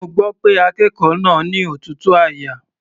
Mo gbọ́ pé akékòó náà ni òtútù àyà.